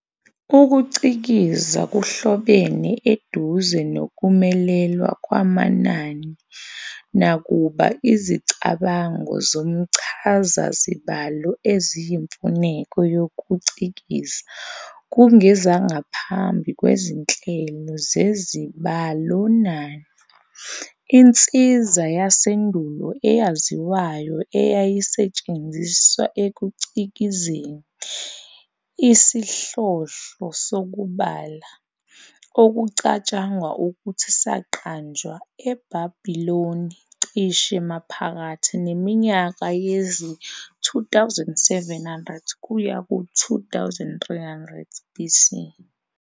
UkuCikiza kuhlobene eduze nokumelelwa kwamanani, nakuba izicabango zomchazazibalo eziyimfuneko yokucikiza kungezangaphambi kwezinhlelo zezibalonani. Insiza yasendulo eyaziwayo eyayisetshenziswa ekucikizeni, isihlohlo sokubala, okucatshangwa ukuthi saqanjwa eBhabhiloni cishe maphakathi neminyaka yezi-2700 kuya kwezi-2300 BC.